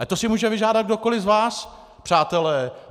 Ale to si může vyžádat kdokoli z vás, přátelé.